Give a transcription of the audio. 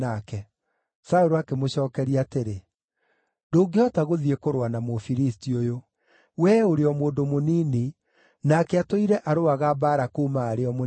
Saũlũ akĩmũcookeria atĩrĩ, “Ndũngĩhota gũthiĩ kũrũa na Mũfilisti ũyũ; wee ũrĩ o mũndũ mũnini, nake atũire arũaga mbaara kuuma arĩ o mũnini.”